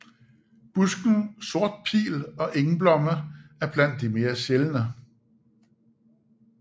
Busken sort pil og engblomme er blandt de mere sjældne